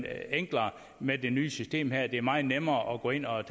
enklere med det nye system her det er meget nemmere at gå ind og